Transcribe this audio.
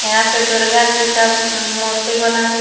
यहां पे दुर्गा जी का मूर्ति बना हुआ--